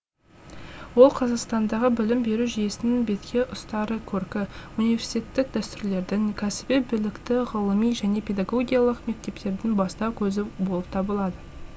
ол қазақстандағы білім беру жүйесінің бетке ұстары көркі университеттік дәстүрлердің кәсіби білікті ғылыми және педагогиялық мектептердің бастау көзі болып табылады